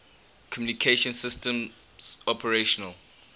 communication systems operational